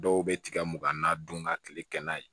Dɔw bɛ tigɛ mugan na dun ka kile kɛ n'a ye